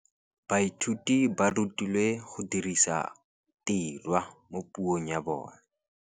Baithuti ba rutilwe go dirisa tirwa mo puong ya bone.